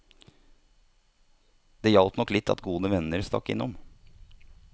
Det hjalp nok litt at gode venner stakk innom.